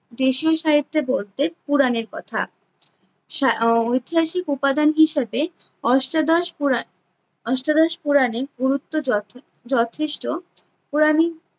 দেশীয় সাহিত্যে বলতে পুরাণের কথা। সা~ ঐতিহাসিক উপাদান হিসাবে অষ্টাদশ পুরা~ অষ্টাদশ পুরাণের গুরুত্ব যথে~ যথেষ্ট। পুরাণে